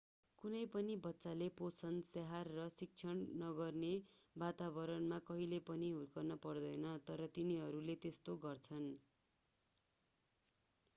कुनै पनि बच्चाले पोषण स्याहार र शिक्षण नगर्ने वातावतणमा कहिल्यै पनि हुर्कनु पर्दैन तर तिनीहरूले त्यस्तो गर्छन्